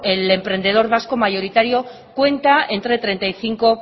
el emprendedor vasco mayoritario cuenta entre treinta y cinco